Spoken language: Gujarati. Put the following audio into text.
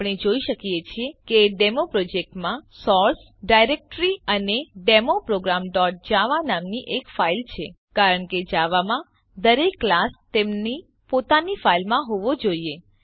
આપણે જોઈ શકીએ છીએ કે ડેમોપ્રોજેક્ટ માં સોર્સ ડાયરેક્ટ્રી અને ડેમો programજાવા નામની એક ફાઈલ છે કારણ કે જાવા માં દરેક ક્લાસ તેમની પોતાની ફાઈલમાં હોવો જોઈએ